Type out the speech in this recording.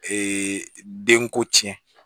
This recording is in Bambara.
den ko tiɲɛ